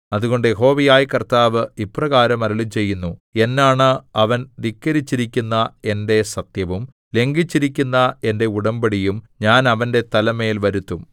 അതുകൊണ്ട് യഹോവയായ കർത്താവ് ഇപ്രകാരം അരുളിച്ചെയ്യുന്നു എന്നാണ അവൻ ധിക്കരിച്ചിരിക്കുന്ന എന്റെ സത്യവും ലംഘിച്ചിരിക്കുന്ന എന്റെ ഉടമ്പടിയും ഞാൻ അവന്റെ തലമേൽ വരുത്തും